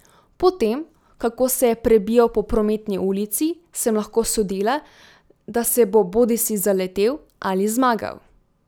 Po tem, kako se je prebijal po prometni ulici, sem lahko sodila, da se bo bodisi zaletel ali zmagal.